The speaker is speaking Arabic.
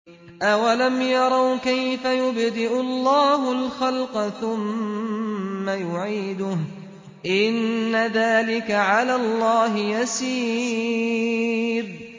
أَوَلَمْ يَرَوْا كَيْفَ يُبْدِئُ اللَّهُ الْخَلْقَ ثُمَّ يُعِيدُهُ ۚ إِنَّ ذَٰلِكَ عَلَى اللَّهِ يَسِيرٌ